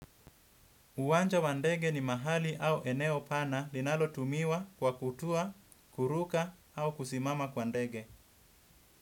Uwanja wa ndege ni mahali au eneo pana linalo tumiwa kwa kutua, kuruka au kusimama kwa ndege.